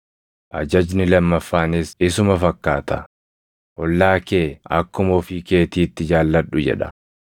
Ajajni lammaffaanis isuma fakkaata: ‘Ollaa kee akkuma ofii keetiitti jaalladhu’ + 22:39 \+xt Lew 19:18\+xt* jedha.